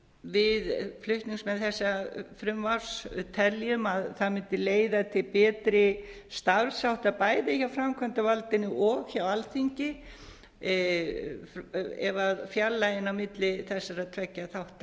við flutningsmenn þessa frumvarps teljum að það mundi leiða til betri starfshátta bæði hjá framkvæmdarvaldinu og hjá alþingi ef fjarlægðin á milli þessara tveggja þátta